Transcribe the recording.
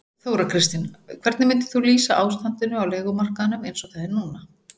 Þóra Kristín: Hvernig myndir þú lýsa ástandinu á leigumarkaðnum eins og það er núna?